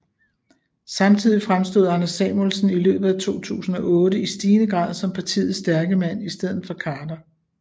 Samtidig fremstod Anders Samuelsen i løbet af 2008 i stigende grad som partiets stærke mand i stedet for Khader